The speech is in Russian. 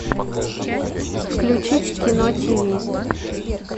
включить кино тв